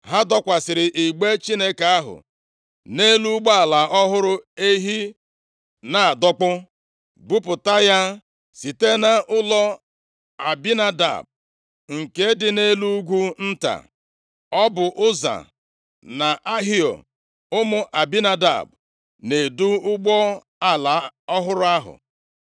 Ha dọkwasịrị igbe Chineke ahụ nʼelu ụgbọala ọhụrụ ehi na-adọkpụ, buputa ya site nʼụlọ Abinadab nke dị nʼelu ugwu nta. Ọ bụ Ụza na Ahio, ụmụ Abinadab, na-edu ụgbọala ọhụrụ ahụ,